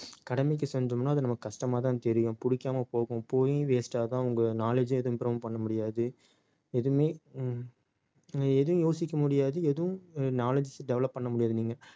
கடமைக்கு செஞ்சோம்ன்னா அது நமக்கு கஷ்டமாதான் தெரியும் பிடிக்காம போகும். போயும் waste ஆ தான் உங்க knowledge ஏ எதுவும் improve உம் பண்ண முடியாது எதுவுமே உம் எதுவும் யோசிக்க முடியாது எதுவும் knowledges develop பண்ண முடியாது நீங்க